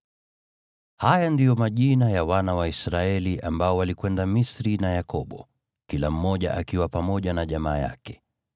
Haya ndiyo majina ya wana wa Israeli ambao walikwenda Misri na Yakobo, kila mmoja akiwa pamoja na jamaa yake: